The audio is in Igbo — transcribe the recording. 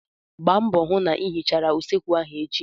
Gbaa mbọ hụ na ị hichara usekwu ahụ echi!